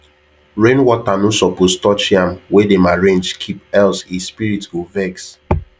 rainwater no suppose touch yam wey dem arrange keep else e spirit go vex